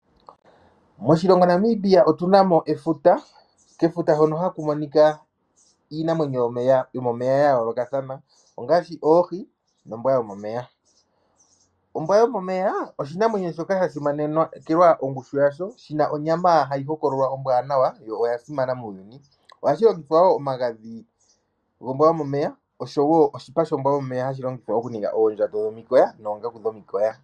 Moshilongo Namibia otu na mo efuta. Kefuta hono haku monika iinamwenyo yomomeya ya yoolokathana ngaashi oohi nombwa yomomeya. Ombwa yomomeya oshinamwenyo shoka sha simanekelwa ongushu yasho. Shi na onyama hayi hokololwa ombwaanawa yo oya simana muuyuni. Ohashi longithwa wo omagadhi gombwa yomomeya noshowo oshipa shombwa yomomeya hashi longithwa okuninga oondjato dhomikoya noongaku dhomikoya.